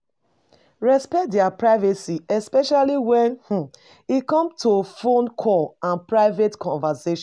Respect their privacy especially when um e come to phone call and private conversation